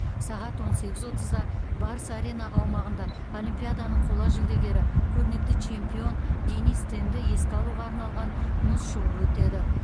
сағат он сегіз отызда барыс арена аумағында олимпиаданың қола жүлдегері көрнекті чемпион денис тенді еске алуға арналған мұз шоуы өтеді